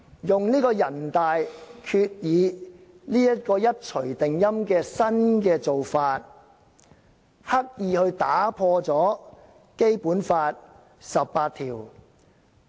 全國人民代表大會常務委員會一錘定音，作出決定，刻意打破《基本法》第十八條。